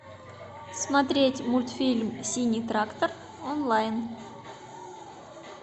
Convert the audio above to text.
смотреть мультфильм синий трактор онлайн